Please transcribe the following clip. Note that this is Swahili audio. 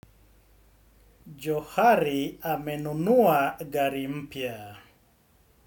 Johari amenunua gari mpya.